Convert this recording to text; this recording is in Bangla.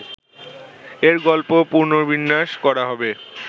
এর গল্প পুনর্বিন্যাস করা হবে